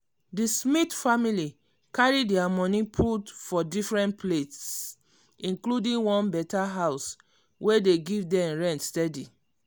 di smith family carry dia money put for different place including one better house wey dey give dem rent steady.